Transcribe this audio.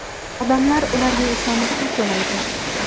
Odamlar ularga ishonib pul to‘laydi.